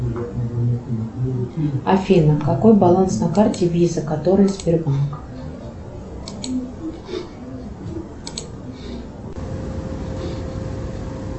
афина какой баланс на карте виза которая сбербанк